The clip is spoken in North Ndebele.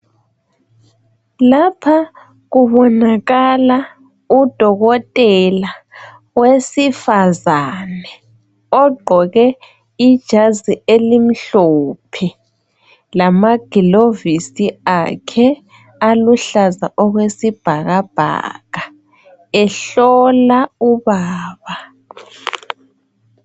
Lapha kubonakala udokotela owesifazane, ogqoke ijazi elimhlophe. Lamagilovisi akhe aluhlaza okwesi bhakabhaka. Ehlola ubaba.